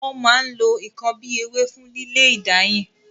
Wọn máa ń lo n kan bíi ewé fún lílé ìdáyìn.